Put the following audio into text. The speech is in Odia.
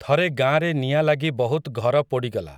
ଥରେ ଗାଁରେ ନିଆଁ ଲାଗି ବହୁତ୍ ଘର ପୋଡ଼ିଗଲା ।